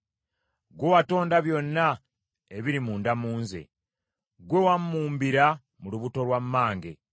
Ggwe watonda byonna ebiri munda mu nze; ggwe wammumbira mu lubuto lwa mmange.